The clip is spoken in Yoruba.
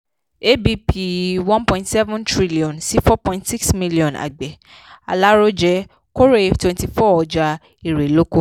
abp one point seven trillion sí four point six trillion àgbẹ̀ alárójẹ kórè twenty-four ọjà erè-oko.